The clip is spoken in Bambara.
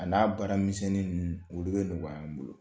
A n'a baara minɛn ninnu olu bɛ nɔgɔya, an bolo.